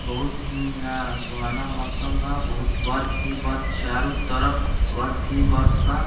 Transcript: बहुत हीं यहाँ सुहाना मौसम बा बहुत बर्फ ही बर्फ चारो तरफ बर्फ ही बर्फ बा।